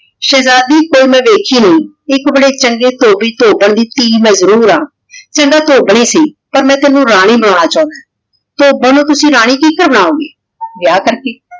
ਸ਼ੇਹ੍ਜ਼ਾਦੀ ਤੇ ਮੈਂ ਵੇਖੀ ਨਹੀ ਏਇਕ ਬਾਰੇ ਚੰਗੇ ਧੋਭੀ ਧੋਬਨ ਦੀ ਮੈਂ ਟੀ ਵਾਂ ਚਲੋ ਧੋਬਨ ਈ ਸੀ ਪਰ ਮੈਂ ਤੇਨੁ ਰਾਨੀ ਬਨਾਨਾ ਚੌਂਦਾ ਹਾਂ ਧੋਬਨ ਨੂ ਤੁਸੀਂ ਰਾਨੀ ਕੀ ਬਨਾਓ ਗੇ ਵਿਯਾਹ ਤਾਂ ਕੀ